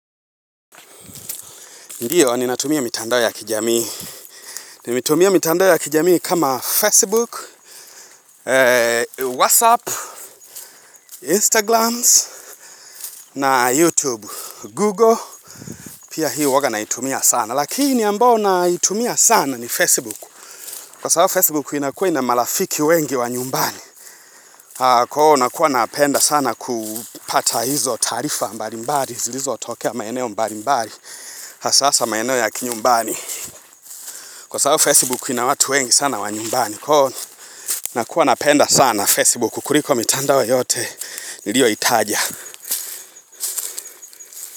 Ndiyo, ninatumia mitandao ya kijamii. Ni metumia mitandao ya kijamii kama Facebook, WhatsApp, Instagrams, na YouTube, Google. Pia hii waga naitumia sana. Lakini, ambayo naitumia sana ni Facebook. Kwa sababu Facebook, inakua ina marafiki wengi wa nyumbani. Kwahiyo, nakuwa napenda sana kupata hizo taarifa mbali mbali. Zilizo tokea maeneo mbali mbali. Hasa hasa maeneo ya kinyumbani. Kwa saa Facebook, ina watu wengi sana wa nyumbani. Na kuwa napenda sana Facebook kuliko mitandao yote niliyo itaja.